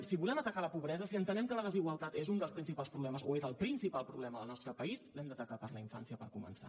si volem atacar la pobresa si entenem que la desigualtat és un dels principals problemes o és el principal problema del nostre país l’hem d’atacar per la infància per començar